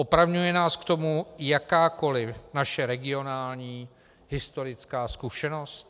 Opravňuje nás k tomu jakákoli naše regionální historická zkušenost?